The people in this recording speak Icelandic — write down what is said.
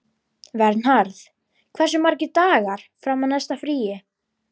Vernharð, hversu margir dagar fram að næsta fríi?